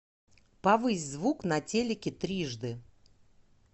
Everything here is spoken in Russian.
повысь звук на телике трижды